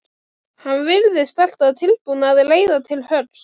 Hann virðist alltaf tilbúinn að reiða til höggs.